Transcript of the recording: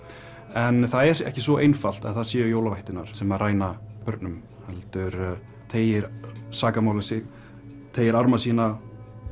en það er ekki svo einfalt að það séu jólavættirnar sem ræna börnum heldur teygir sakamálið sig teygir arma sína